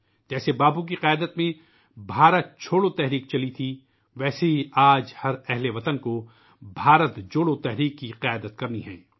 جیسے باپو کی قیادت میں '' بھارت چھوڑو '' مہم چلی تھی ، ویسے ہی آج ہر شہری کو '' بھارت جوڑو '' مہم کی قیادت کرنی ہے